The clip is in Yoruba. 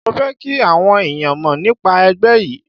Mo fẹ́ kí àwọn ẹ̀yàn mọ̀ nípa ẹgbẹ́ yí.